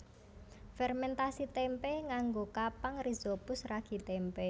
Fermèntasi témpé nganggo kapang rhizopus ragi tempe